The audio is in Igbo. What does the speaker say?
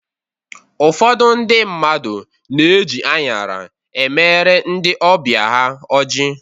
Ụfọdụ ndị mmadụ na-eji anyara e mere ndị ọbịa ha ọjị